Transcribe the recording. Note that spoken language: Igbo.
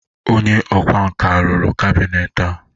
onye ọkwá nkà rụrụ kabinet a?